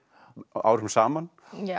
árum saman